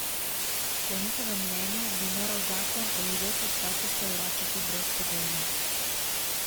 Po njihovem mnenju bi moral zakon odvzete statuse vračati brezpogojno.